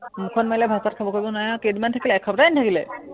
উম মুখত মাৰিলে, ভাত-চাত খাব কৰিব নোৱাৰে আৰু কেইদিনমান থাকিলে এসপ্তাহেই নাথাকিলে।